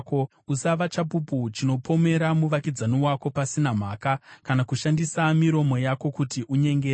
Usava chapupu chinopomera muvakidzani wako pasina mhaka, kana kushandisa miromo yako kuti unyengere.